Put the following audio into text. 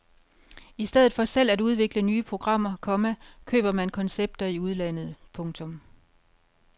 I stedet for selv at udvikle nye programmer, komma køber man koncepter i udlandet. punktum